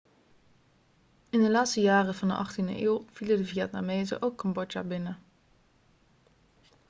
in de laatste jaren van de 18e eeuw vielen de vietnamezen ook cambodja binnen